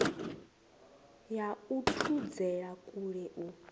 ya u thudzela kule u